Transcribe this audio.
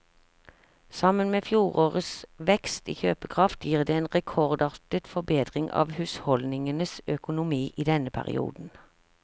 Sammen med fjorårets vekst i kjøpekraft gir det en rekordartet forbedring av husholdningenes økonomi i denne perioden.